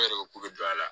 E yɛrɛ ko kulu don a la